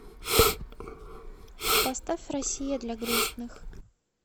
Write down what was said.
поставь россия для грустных